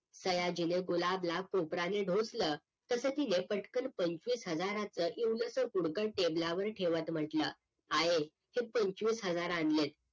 सयाजीने गुलाबला कोपरान डूसल तस तिने पटकन पंचवीस हजाराच इवलसं पुडकं टेबलावर ठेवत म्हटलं आये हे पंचवीस हजार आणलेत